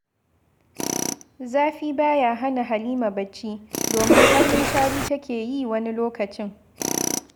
Zafi ba ya hana Halima barci, domin har munshari take yi wani lokacin